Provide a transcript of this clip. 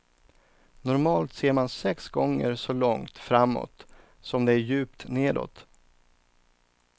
Normalt ser man sex gånger så långt framåt som det är djupt nedåt.